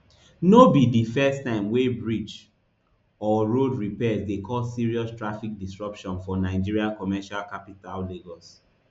no be di first time wey bridge or road repairs dey cause serious traffic disruption for nigeria commercial capital lagos